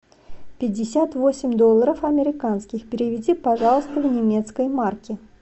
пятьдесят восемь долларов американских переведи пожалуйста в немецкие марки